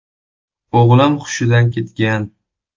O‘g‘lim hushidan ketgan.